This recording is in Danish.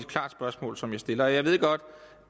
klart spørgsmål som jeg stiller jeg ved godt